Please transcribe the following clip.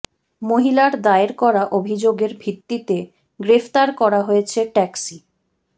মহিলার দায়ের করা অভিযোগের ভিত্তিতে গ্রেফতার করা হয়েছে ট্যাক্সি